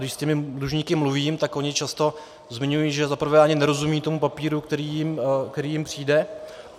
Když s těmi dlužníky mluvím, tak oni často zmiňují, že za prvé ani nerozumějí tomu papíru, který jim přijde.